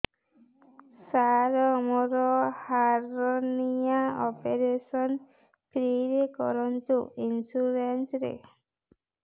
ସାର ମୋର hernia operation free ରେ କରନ୍ତୁ ଇନ୍ସୁରେନ୍ସ ରେ